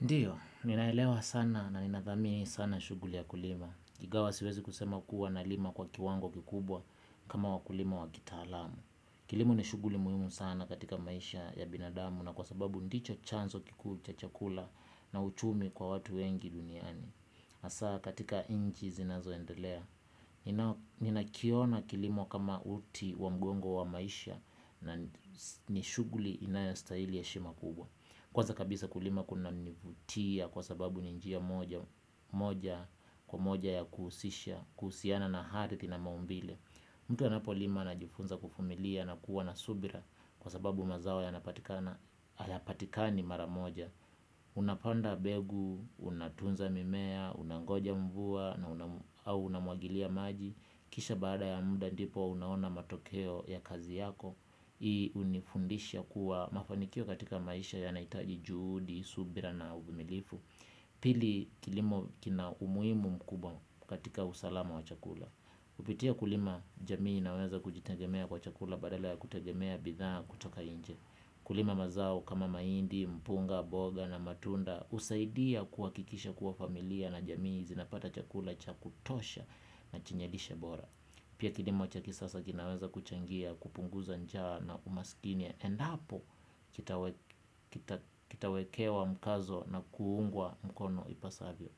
Ndiyo, ninaelewa sana na ninathamini sana shughuli ya kulima. Ingawa siwezi kusema kuwa nalima kwa kiwango kikubwa kama wakulima wa kitaalamu. Kilimo ni shughuli muhimu sana katika maisha ya binadamu na kwa sababu ndicho chanzo kikuu cha chakula na uchumi kwa watu wengi duniani. Hasaa katika nchi zinazoendelea. Ninakiona kilimo kama uti wa mgongo wa maisha na ni shughuli inayostahili heshima kubwa. Kwanza kabisa kulima kunanivutia kwa sababu ni njia moja kwa moja ya kuhusisha, kuhusiana na aridhi na maumbile mtu anapolima anajifunza kuvumilia na kuwa na subira kwa sababu mazao hayapatikani mara moja. Unapanda mbegu, unatunza mimea, unangoja mvua na unamwagilia maji. Kisha baada ya muda ndipo unaona matokeo ya kazi yako. Hii hunifundisha kuwa mafanikio katika maisha yanahitaji juhudi, subira na uvumilivu. Pili kilimo kina umuhimu mkubwa katika usalama wa chakula. Kupitia kulima jamii inaweza kujitegemea kwa chakula badala ya kutegemea bidhaa kutoka nje. Kulima mazao kama mahindi, mpunga, boga na matunda husaidia kuhakikisha kuwa familia na jamii zinapata chakula cha kutosha na chenye lishe bora. Pia kilimo cha kisasa kinaweza kuchangia kupunguza njaa na umaskini endapo kitawekewa mkazo na kuungwa mkono ipasavyo.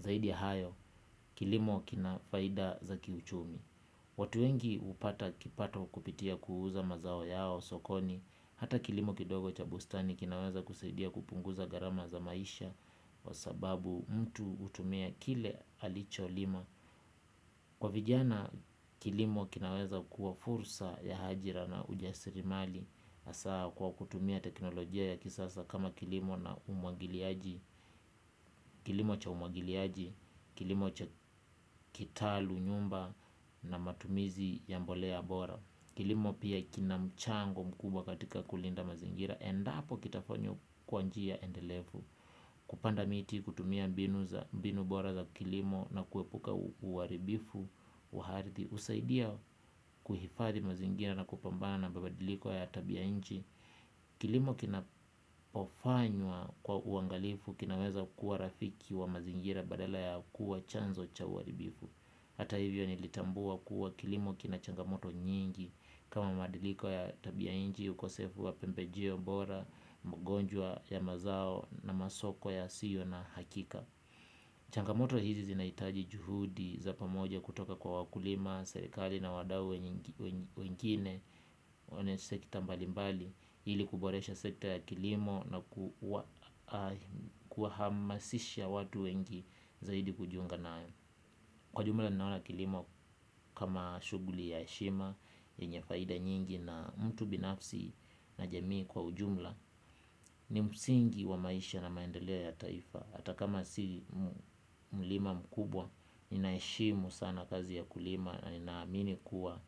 Zaidi ya hayo kilimo kina faida za kiuchumi. Watu wengi hupata kipato kupitia kuuza mazao yao sokoni. Hata kilimo kidogo cha bustani kinaweza kusaidia kupunguza gharama za maisha kwa sababu mtu hutumia kile alicholima. Kwa vijana kilimo kinaweza kuwa fursa ya ajira na ujasiri mali hasaa kwa kutumia teknolojia ya kisasa kama kilimo na umwagiliaji, kilimo cha umwagiliaji, kilimo cha kitalu nyumba na matumizi ya mbolea bora. Kilimo pia kina mchango mkubwa katika kulinda mazingira endapo kitafanywa kwa njia endelevu. Kupanda miti kutumia mbinu bora za kilimo na kuepuka uharibifu wa aridhi husaidia kuhifadhi mazingira na kupambana na mabadiliko ya tabia ya nchi. Kilimo kinapofanywa kwa uangalifu kinaweza kuwa rafiki wa mazingira badala ya kuwa chanzo cha uharibifu. Hata hivyo nilitambua kuwa kilimo kina changamoto nyingi kama mabadiliko ya tabia nchi, ukosefu wa pembejio bora, mgonjwa ya mazao na masoko yasiyo na hakika. Changamoto hizi zinahitaji juhudi za pamoja kutoka kwa wakulima, serikali na wadau wengine wenye sekta mbalimbali, ili kuboresha sekta ya kilimo na kuwahamasisha watu wengi zaidi kujiunga nayo. Kwa jumla ninaona kilimo kama shughuli ya heshima yenye faida nyingi na mtu binafsi na jamii kwa ujumla. Ni msingi wa maisha na maendeleo ya taifa. Hata kama si mlima mkubwa ninaheshimu sana kazi ya kulima na ninaamini kuwa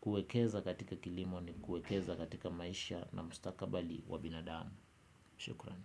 kuekeza katika kilimo ni kuekeza katika maisha na mustakabali wa binadamu. Shukrani.